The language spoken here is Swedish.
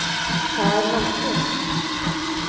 Per Nordlund